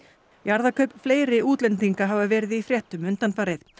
jarðakaup fleiri útlendinga hafa verið í fréttum undanfarið